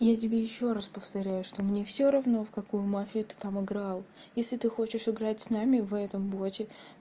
я тебе ещё раз повторяю что мне всё равно в какую мафию ты там играл если ты хочешь играть с нами в этом боте